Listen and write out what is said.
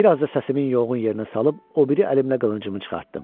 Bir az da səsimin yoğun yerinə salıb o biri əlimlə qılıncımı çıxartdım.